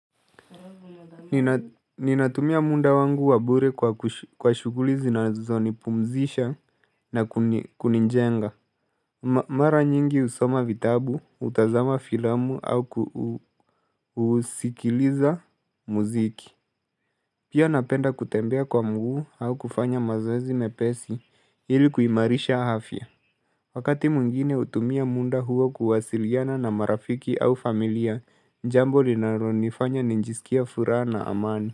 Ninatumia muda wangu wabure kwa kwa shuguli zi na zonipumzisha na kunijenga. Mara nyingi husoma vitabu, hutazama filamu au kuusikiliza muziki. Pia napenda kutembea kwa mguu au kufanya mazoezi mepesi hili kuimarisha afya. Wakati mwingine utumia munda huo kuwasiliana na marafiki au familia njambo linaro nifanya nijisikie furaha na amani.